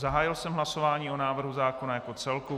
Zahájil jsem hlasování o návrhu zákona jako celku.